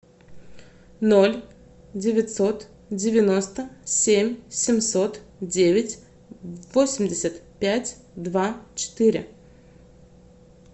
ноль девятьсот девяносто семь семьсот девять восемьдесят пять два четыре